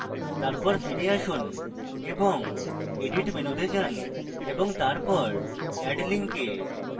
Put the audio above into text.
তারপর ফিরে আসুন এবং edit menu then টিপুন এবং তারপর add link এ